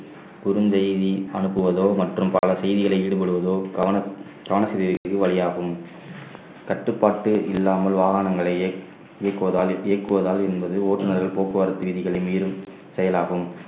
குறுந்தெய்தி அனுப்புவதோ மற்றும் பல செய்திகளை ஈடுபடுவதோ கவன கவன வழியாகும் கட்டுப்பாட்டு இல்லாமல் வாகனங்களையே இயக்குவதால் இயக்குவதால் என்பது ஓட்டுநர்கள் போக்குவரத்து விதிகளை மீறும் செயலாகும்